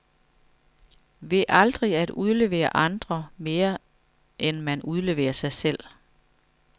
Ved aldrig at udlevere andre, mere end man udleverer sig selv.